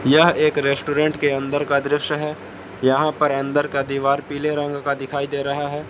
यह एक रेस्टोरेंट के अंदर का दृश्य है यहां पर अंदर का दीवार पीले रंग का दिखाई दे रहा है।